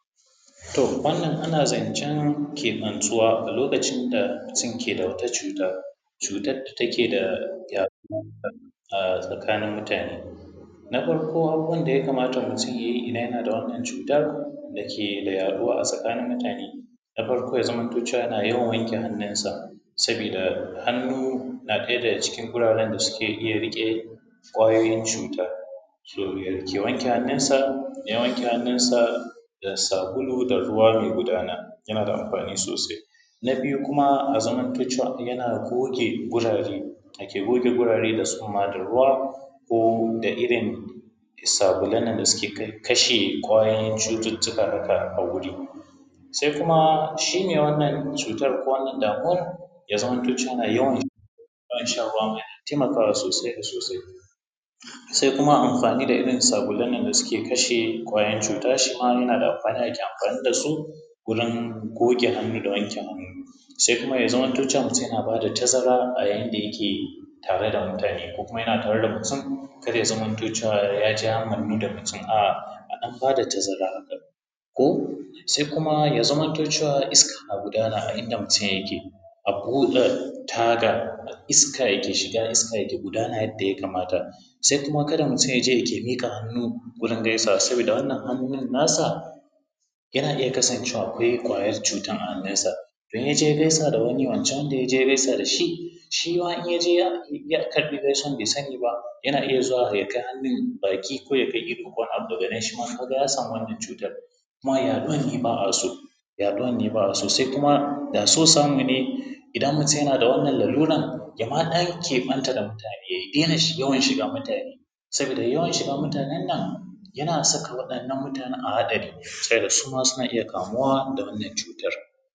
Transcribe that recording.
To wannan ana zancen keɓantuwa a lokacin da mutum ke da wata cuta. Cutan da take da yaɗuwa a tsakanin mutane. Na farko abubuwan da ya kamata mutum yayi idan yana da wannan cutan da ke da yaɗuwa a tsakanin mutane, na farko ya zamanto cewa yana yawan wanke hannunsa sabida hannu na ɗaya daga cikin wuraren da suke iya riƙe ƙwayoyin cuta, ya wanke hannun sa, ya wanke hannun sa da sabulu da ruwa mai gudana. Yana da amfani sosai. Na biyu kuma a zamanto cewa yana goge wurare ya ke goge wurare da tsumma da ruwa da irin sabulan nan da suke kashe ƙwayoyin cututtuka haka a guri, sai kuma shi mai wannan cuta ko wannan damuwan, ya zamanto cewa yana yawan shan ruwa, yana taimakawa sosai da sosai. Sai kuma amfani da irin sabulan nan da suke kashe ƙwayan cuta, shi ma yana da amfani ake amfani da su wurin goge hannu da wanke hannu. Sai kuma ya zamanto cewa mutum ya na bada tazara a yayin da yake tare da mutane, ko kuma yana tare da mutum kar ya zamanto cewa ya je ya mannu da mutum a'a. a ɗan ba da tazara haka ko. Sai kuma ya zamanto cewa iska na gudana a inda mutum yake a buɗe taga iska yake shiga iska yake gudana yadda ya kamata. Sai kuma kada mutum ya je ya ke miƙa hannu saboda wannan hannun na sa, yana iya kasancewa akwai kwayan cutan a hannunsa. Idan yaje ya gaisa da wani, wancan da ya je ya gaisa da shi, shi ma in ya je ya karɓi gaisuwan bai sani ba, yana iya zuwa ya kai hannun baki, ko ya kai ido ko wani abu, daga nan shi ma ya samu wannan cutan, kuma yaɗuwar ne ba a so. Sai kuma da so samu ne idan mutum yana da wannan laluran ya ma ɗan keɓanta da mutane ya daina yawan shiga mutane, sabida yawan shiga mutanan nan yana saka waɗannan mutanan a hatsari ta yadda suma suna iya kamuwa da wannan cutan.